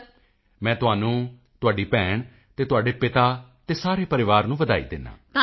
ਮੋਦੀ ਜੀ ਮੈਂ ਤੁਹਾਨੂੰ ਤੁਹਾਡੀ ਭੈਣ ਅਤੇ ਤੁਹਾਡੇ ਪਿਤਾ ਸਾਰੇ ਪਰਿਵਾਰ ਨੂੰ ਵਧਾਈ ਦਿੰਦਾ ਹਾਂ